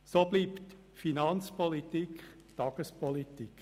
So bleibt die Finanzpolitik Tagespolitik.